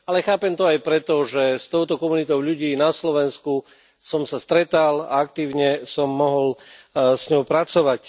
Ale chápem to aj preto, že s touto komunitou ľudí na Slovensku som sa stretal a aktívne som s ňou mohol pracovať.